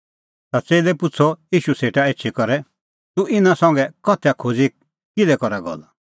ता च़ेल्लै पुछ़अ ईशू सेटा एछी करै तूह इना संघै उदाहरणा दी किल्है करा गल्ला